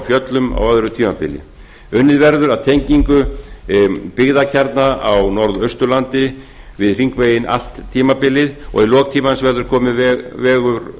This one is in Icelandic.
fjöllum á öðru tímabili unnið verður að tengingu byggðakjarna á norðausturlandi við hringveginn allt tímabilið og í lok tímans verður kominn vegur